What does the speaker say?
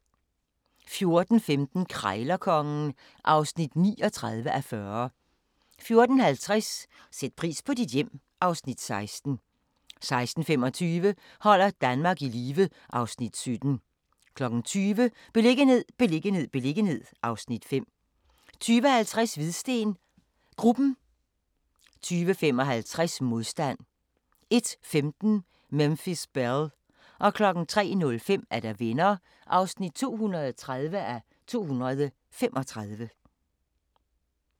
14:15: Krejlerkongen (39:40) 14:50: Sæt pris på dit hjem (Afs. 16) 16:25: Holder Danmark i live (Afs. 17) 20:00: Beliggenhed, beliggenhed, beliggenhed (Afs. 5) 20:50: Hvidsten Gruppen 22:55: Modstand 01:15: Memphis Belle 03:05: Venner (230:235)